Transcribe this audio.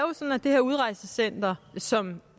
sådan at det her udrejsecenter som